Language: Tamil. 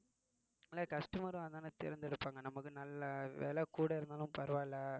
ஆனா customer ஆ அததானே தேர்ந்தெடுப்பாங்க நமக்கு நல்ல விலை கூட இருந்தாலும் பரவாயில்லை